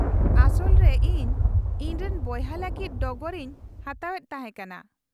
-ᱟᱥᱚᱞ ᱨᱮ ᱤᱧ ᱤᱧ ᱨᱮᱱ ᱵᱚᱭᱦᱟ ᱞᱟᱹᱜᱤᱫ ᱰᱚᱜᱚᱨ ᱤᱧ ᱦᱟᱛᱟᱣ ᱮᱫ ᱛᱟᱦᱮᱸ ᱠᱟᱱᱟ ᱾